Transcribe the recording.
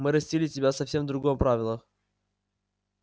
мы растили тебя совсем в другом правилах